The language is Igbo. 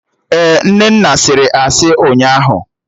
Ee, Nnenna sịrị asị ụnyaahụ